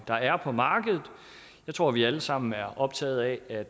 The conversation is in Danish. der er på markedet jeg tror vi alle sammen er optaget af